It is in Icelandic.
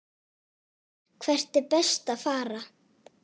Hvert er best að fara?